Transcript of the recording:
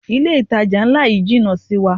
Ilé ìtajà ńlá yí jìnà sí wa.